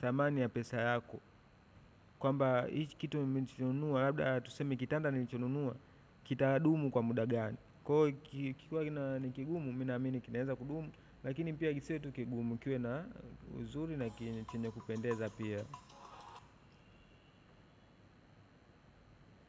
Thamani ya pesa yako. Kwamba hiki kitu nilikinunua labda tuseme kitanda nilichonunua kitadumu kwa muda gani. Kwa hivyo, kikiwa ni kigumu mimi naamini kinaweza kudumu lakini kisiwe tu kigumu kiwe na uzuri na chenye kupendeza pia.